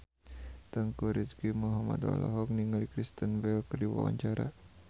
Teuku Rizky Muhammad olohok ningali Kristen Bell keur diwawancara